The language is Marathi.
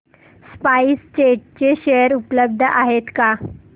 स्पाइस जेट चे शेअर उपलब्ध आहेत का